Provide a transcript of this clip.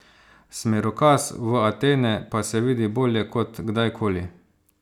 Smerokaz v Atene pa se vidi bolje kot kdaj koli.